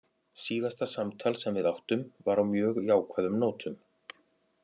Síðasta samtal sem við áttum var á mjög jákvæðum nótum.